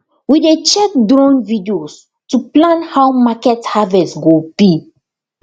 we dey check drone videos to plan how market harvest go be